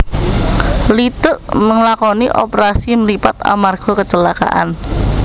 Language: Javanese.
Leeteuk ngelakoni operasi mripat amarga kecelakaan